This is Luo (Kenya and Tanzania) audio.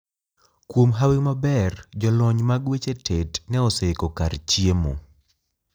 Kuom hawi maber, jolony mag weche tet ne oseiko kar chiemo.